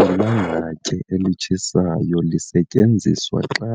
Ilangatye elitshisayo lisetyenziswa xa